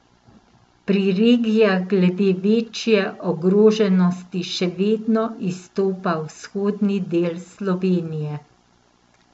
Pri regijah glede večje ogroženosti še vedno izstopa vzhodni del Slovenije.